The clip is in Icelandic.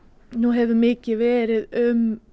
nú hefur mikið verið um